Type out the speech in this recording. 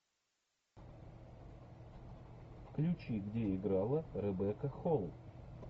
включи где играла ребекка холл